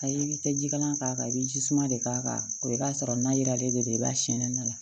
Ayi i bi tɛ jikalan k'a kan i bi ji suma de k'a kan o i b'a sɔrɔ na yiralen de do i b'a sɛnɛnna la